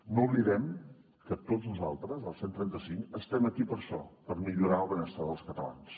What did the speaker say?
no oblidem que tots nosaltres els cent i trenta cinc estem aquí per això per millorar el benestar dels catalans